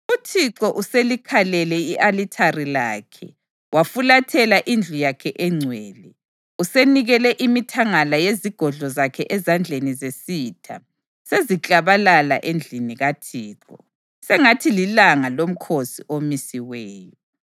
UThixo uselikhalele i-alithari lakhe, wafulathela indlu yakhe engcwele. Usenikele imithangala yezigodlo zakhe ezandleni zesitha; seziklabalala endlini kaThixo sengathi lilanga lomkhosi omisiweyo.